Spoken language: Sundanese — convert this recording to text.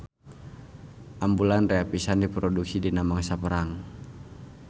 Ambulan rea pisan diproduksi dina mangsa perang.